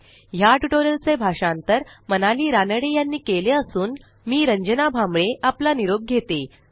ह्या ट्युटोरियलचे भाषांतर मनाली रानडे यांनी केले असून मी रंजना भांबळे आपला निरोप घेते160